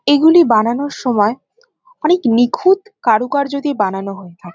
এগুলি বানানোর সময় অনেক নিখুঁত কারুকার্য দিয়ে বানানো হয়ে থা--